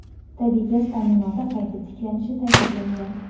tabiiy gaz ta’minoti qayta tiklanishi ta’kidlangan.